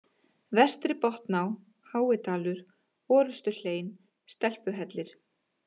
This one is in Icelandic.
Vestri-Botná, Háidalur, Orustuhlein, Stelpuhellir